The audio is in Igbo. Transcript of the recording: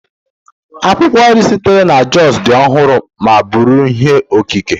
Akwụkwọ nri sitere na Jos dị ọhụrụ ma bụrụ ihe okike